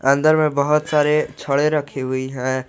अंदर में बहोत सारे छड़े रखी हुई है।